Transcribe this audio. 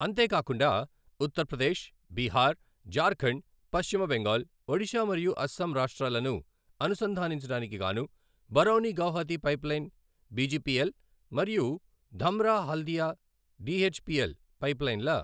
అంతే కాకుండా, ఉత్తరప్రదేశ్, బీహార్, జార్ఖండ్, పశ్చిమ బెంగాల్, ఒడిశా మరియు అస్సాం రాష్ట్రాలను అనుసంధానించడానికి గాను బరౌని గౌహతి పైప్లైన్ బీజీపీఎల్ మరియు ధమ్రా హల్దియా డీహెచ్పీఎల్ పైప్లైన్ల